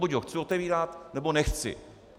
Buď ho chci otevírat, nebo nechci.